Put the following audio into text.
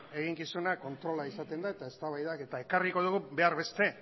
eginkizuna kontrola izaten da eta eztabaidak eta ekarriko dugu behar beste